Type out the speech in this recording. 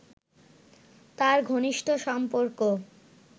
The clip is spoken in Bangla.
তাঁর ঘনিষ্ঠ সম্পর্ক